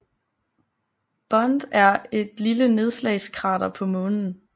Bond er et lille nedslagskrater på Månen